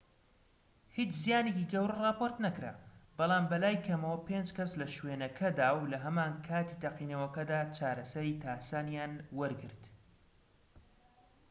هیچ زیانێکی گەورە راپۆرت نەکرا بەڵام بەلای کەمەوە پێنج کەس لە شوێنەکەدا و لە هەمان کاتی تەقینەوەکەدا چارەسەری تاسانیان وەرگرت